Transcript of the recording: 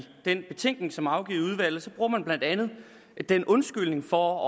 den betænkning som afgivet bruger man blandt andet den undskyldning for